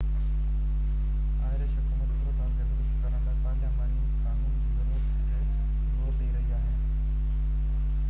Irish حڪومت صورتحال کي درست ڪرڻ لاءِ پارلياماني قانون جي ضرورت تي زور ڏئي رهي آهي